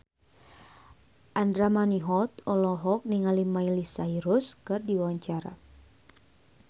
Andra Manihot olohok ningali Miley Cyrus keur diwawancara